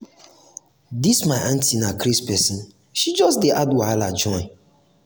dis my auntie na craze pesin she just just dey add wahala join.